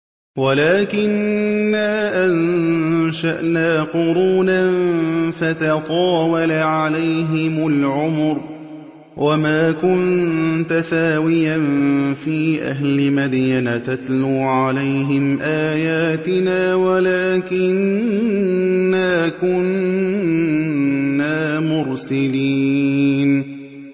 وَلَٰكِنَّا أَنشَأْنَا قُرُونًا فَتَطَاوَلَ عَلَيْهِمُ الْعُمُرُ ۚ وَمَا كُنتَ ثَاوِيًا فِي أَهْلِ مَدْيَنَ تَتْلُو عَلَيْهِمْ آيَاتِنَا وَلَٰكِنَّا كُنَّا مُرْسِلِينَ